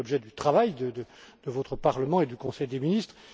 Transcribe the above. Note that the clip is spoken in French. reçu. Il fait l'objet du travail de votre Parlement et du Conseil des ministres.